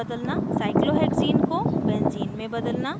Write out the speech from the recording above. cyclohexene को benzene में बदलना